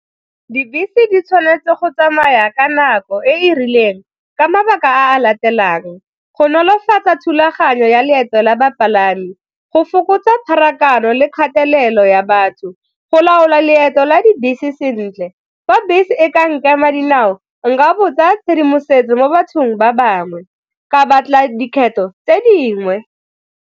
Dibese di tshwanetse go tsamaya ka nako e e rileng ka mabaka a a latelang, go nolofatsa thulaganyo ya leeto la bapalami, go fokotsa pharakano le kgathelelo ya batho. Go laola leeto la dibese sentle, fa bese e ka nkema ka dinao nka botsa tshedimosetso mo bathong ba bangwe ka batla dikgetho tse dingwe.